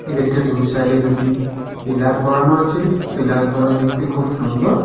গেটটির দুই সাইডে দুটি পিলার করানো আছে পিলার করা দেখতে খুব সুন্দর।